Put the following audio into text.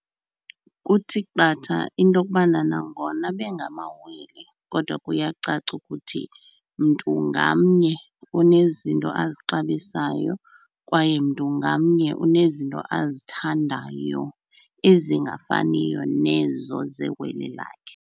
Kuthi qatha into okubana nangona bengamawele kodwa kuyacaca ukuthi mntu ngamnye unezinto azixabisayo, kwaye mntu ngamnye unezinto azithandayo ezingafaniyo nezo zewele lakhe.